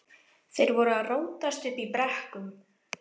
Þeir voru að rótast uppi í brekkum.